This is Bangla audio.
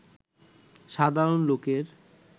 সাধারণ লোকের